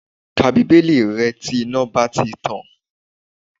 Ka bíbélì rẹ tí iná bá ti tàn